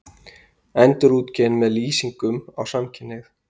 Endurútgefin með lýsingum á samkynhneigð